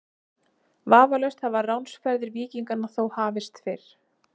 Vafalaust hafa ránsferðir víkinganna þó hafist fyrr.